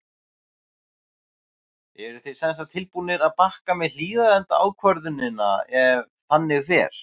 Eruð þið semsagt tilbúnir að bakka með Hlíðarenda ákvörðunina ef þannig fer?